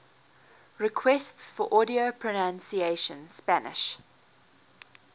requests for audio pronunciation spanish